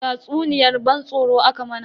Tatsuniyar ban tsoro aka mana.